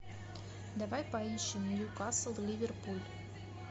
давай поищем ньюкасл ливерпуль